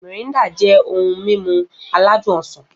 Mirinda jẹ́ ohun mímu aládùn ọsàn